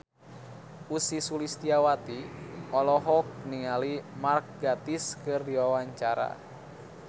Ussy Sulistyawati olohok ningali Mark Gatiss keur diwawancara